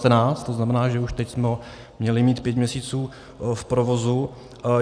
To znamená, že už teď jsme ho měli mít pět měsíců v provozu.